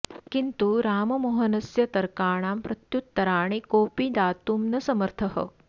किन्तु राममोहनस्य तर्काणां प्रत्युत्तराणि कोऽपि दातुं न समर्थः